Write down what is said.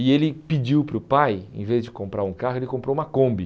E ele pediu para o pai, em vez de comprar um carro, ele comprou uma Kombi.